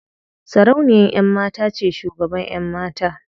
Sarauniyan ƴan mata ce shugaban ƴan mata.